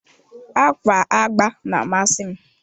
Ákwà agba na-amasị m.